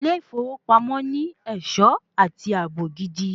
Ilé ìfowópamọ́ ní ẹ̀ṣọ́ àti ààbò gidi.